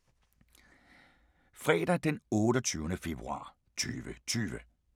Fredag d. 28. februar 2020